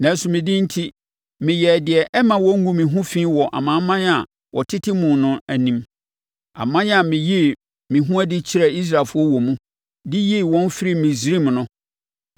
Nanso me din enti, meyɛɛ deɛ ɛmma wɔngu me ho fi wɔ amanaman a wɔtete mu no anim, aman a meyii me ho adi kyerɛɛ Israelfoɔ wɔ mu, de yii wɔn firii Misraim no.